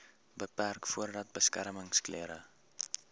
beperk voordat beskermingsklere